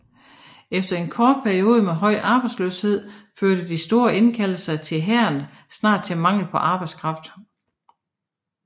Efter en kort periode med høj arbejdsløshed førte de store indkaldelser til hæren snart til mangel på arbejdskraft